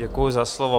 Děkuji za slovo.